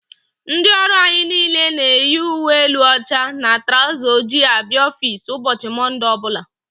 Ndị ọrụ anyị niile na-eyi ùwé élú óchá na trauzer ojii abịa ọffici ụbọchị Monde ọbula.